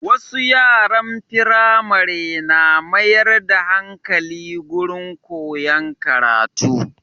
Wasu yaran Firamare na mayar da hankali gurin koyan karatu